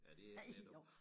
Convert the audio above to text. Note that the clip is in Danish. Ja det ikke let at